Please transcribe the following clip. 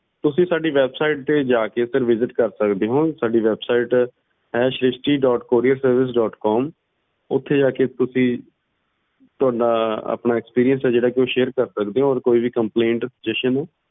sir ਤੁਸੀਂ ਸਾਡੀ website ਤੇ ਜਾ ਕੇ visit ਕਰ ਸਕਦੇ ਹੋ ਸਾਡੀ ਹੈ ਸ੍ਰਿਸ਼ਟੀ dotcourierservicedotcom ਓਥੇ ਜਾ ਕੇ ਤੁਸੀਂ ਆਪਣਾ experience ਜਿਹੜਾ ਏ ਓਹਨੂੰ share ਕਰ ਸਕਦਾ ਇਓ ਔਰ ਕੋਈ complaint